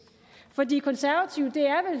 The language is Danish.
for de konservative